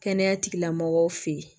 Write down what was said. Kɛnɛya tigilamɔgɔw fɛ yen